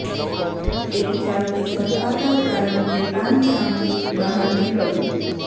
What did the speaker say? એક ચાલતી સર્પાકાર કારણ કે પાન સામૂહિક બહાર નીકળવું